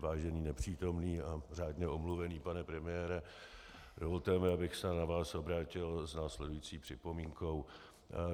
Vážený nepřítomný a řádně omluvený pane premiére, dovolte mi, abych se na vás obrátil s následující připomínkou.